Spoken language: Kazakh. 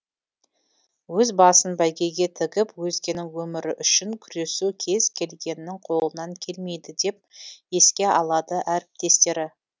өз басын бәйгеге тігіп өзгенің өмірі үшін күресу кез келгеннің қолынан келмейді деп еске алады әріптестері